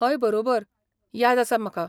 हय बरोबर. याद आसा म्हाका.